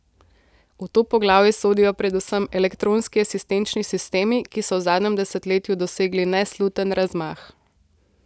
V to poglavje sodijo predvsem elektronski asistenčni sistemi, ki so v zadnjem desetletju dosegli nesluten razmah.